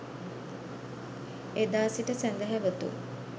එදා සිට සැදැහැවතුන්